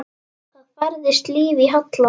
Það færðist líf í Halla.